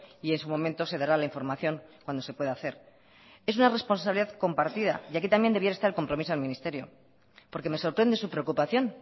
y en su momento se dará la información cuando se puede hacer es una responsabilidad compartida y aquí también debiera estar el compromiso del ministerio porque me sorprende su preocupación